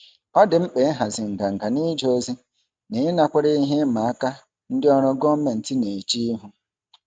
Ọ dị mkpa ịhazi nganga n'ije ozi na ịnakwere ihe ịma aka ndị ọrụ gọọmentị na-eche ihu.